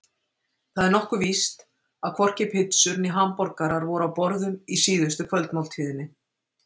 Það er nokkuð víst að hvorki pitsur né hamborgarar voru á borðum í síðustu kvöldmáltíðinni.